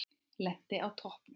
Lenti á toppnum